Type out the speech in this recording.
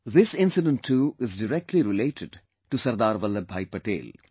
This incident too is directly related to SardarVallabhbhai Patel